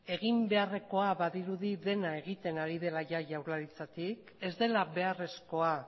egin beharrekoa badirudi dena egiten ari dela ia jaurlaritzatik ez dela beharrezkoa